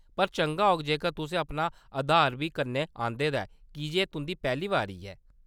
पर चंगा होग जेकर तुसें अपना आधार बी कन्नै आंह्‌‌‌दे दा ऐ कीजे एह्‌‌ तुंʼदी पैह्‌ली बारी ऐ।